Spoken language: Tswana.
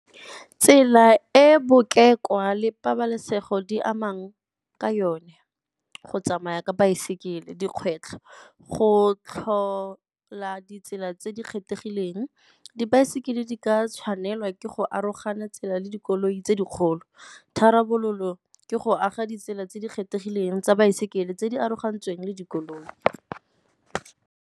Tsela e le pabalesego di amang ka yone, go tsamaya ka baesekele. Dikgwetlho, go tlhola ditsela tse di kgethegileng dibaesekele di ka tshwanelwa ke go arogana tsela le dikoloi tse dikgolo. Tharabololo ke go aga ditsela tse di kgethegileng tsa baesekele tse di arogantsweng le dikoloi.